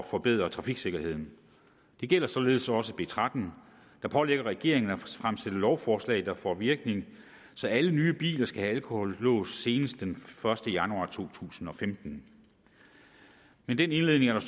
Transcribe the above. forbedre trafiksikkerheden det gælder således også b tretten der pålægger regeringen at fremsætte lovforslag der får virkning så alle nye biler skal have alkolås senest den første januar to tusind og femten med den indledning er der